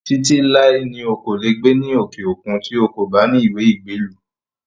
Títí láé ni o kò lè gbé ní òkè òkun tí ó kò bá ní ìwé ìgbélú